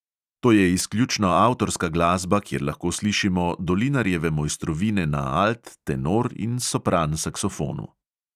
To je izključno avtorska glasba, kjer lahko slišimo dolinarjeve mojstrovine na alt, tenor in sopran saksofonu.